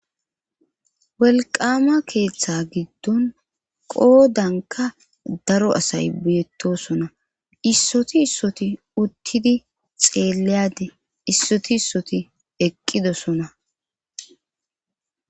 welqama keeththa giddon qoodanka daro asay beettosona issoti issoti uttidi xeeleyade issoti issoti eqqidosona